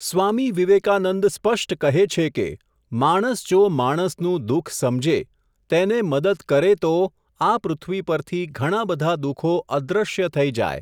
સ્વામી વિવેકાનંદ સ્પષ્ટ કહે છે કે, માણસ જો માણસનું દુઃખ સમજે, તેને મદદ કરે તો, આ પૃથ્વી પરથી ઘણાંબધાં દુઃખો અદૃશ્ય થઈ જાય.